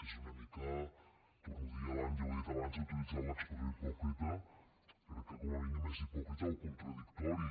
és una mica ho torno a dir ja ho he dit abans he utilitzat l’expressió hipòcrita crec que com a mínim és hipòcrita o contradictori